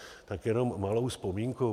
Tak jenom malou vzpomínku.